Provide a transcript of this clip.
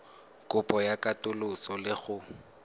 kopo ya katoloso le go